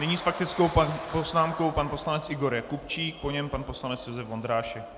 Nyní s faktickou poznámkou pan poslanec Igor Jakubčík, po něm pan poslanec Josef Vondrášek.